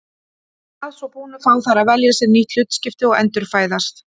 Að svo búnu fá þær að velja sér nýtt hlutskipti og endurfæðast.